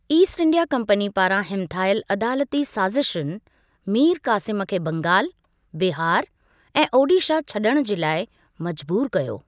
East India Company पारां हिमथायलु अदालती साज़िशुनि मीर क़ासिम खे बंगाल, बिहार ऐं ओडिशा छडि॒णु जे लाइ मजबूर कयो।